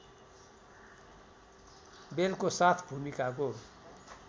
बेलको साथ भूमिकाको